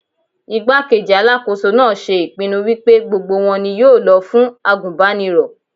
Igbá-kejì Alákóso náà ṣe ìpinnu wípé gbogbo wọn ni yóò lọ fún àgùnbánirọ̀.